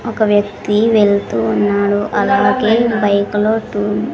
ఒక వ్యక్తి వెళ్తూ ఉన్నాడు అలాగే బైక్ లో తూ--